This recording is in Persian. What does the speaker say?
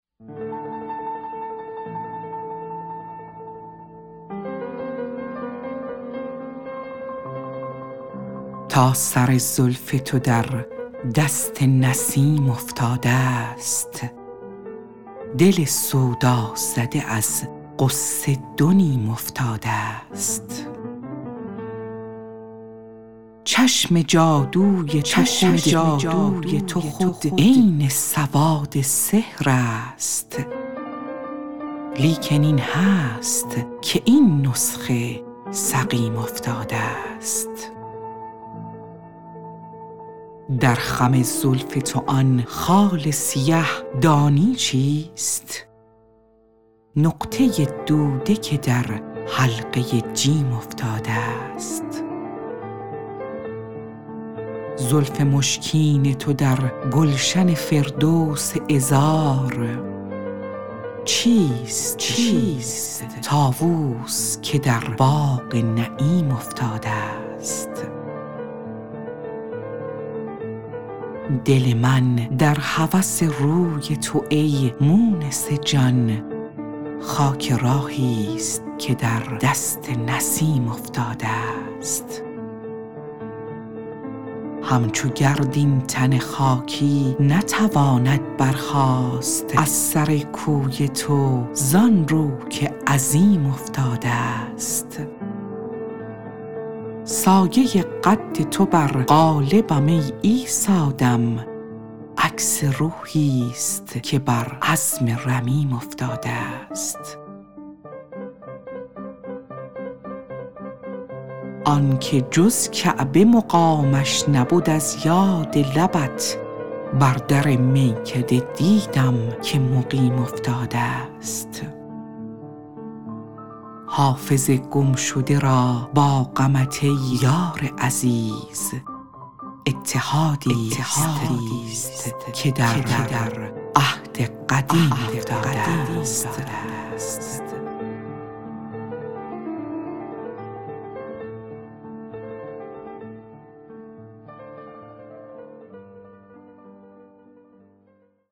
تا سر زلف تو در دست نسیم افتادست دل سودازده از غصه دو نیم افتادست چشم جادوی تو خود عین سواد سحر است لیکن این هست که این نسخه سقیم افتادست در خم زلف تو آن خال سیه دانی چیست نقطه دوده که در حلقه جیم افتادست زلف مشکین تو در گلشن فردوس عذار چیست طاووس که در باغ نعیم افتادست دل من در هوس روی تو ای مونس جان خاک راهیست که در دست نسیم افتادست همچو گرد این تن خاکی نتواند برخاست از سر کوی تو زان رو که عظیم افتادست سایه قد تو بر قالبم ای عیسی دم عکس روحیست که بر عظم رمیم افتادست آن که جز کعبه مقامش نبد از یاد لبت بر در میکده دیدم که مقیم افتادست حافظ گمشده را با غمت ای یار عزیز اتحادیست که در عهد قدیم افتادست